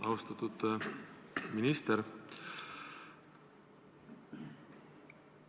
Austatud minister!